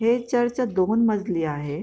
हे चर्च दोन मजली आहे.